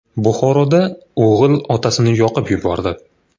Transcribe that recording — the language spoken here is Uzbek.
Buxoroda o‘g‘il otasini yoqib yubordi.